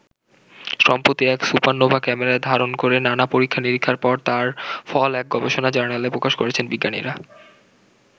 সম্প্রতি এক সুপারনোভা ক্যামেরায় ধারণ করে নানা-পরীক্ষা নিরীক্ষার পর তার ফল এক গবেষণা জার্নালে প্রকাশ করেছেন বিজ্ঞানীরা।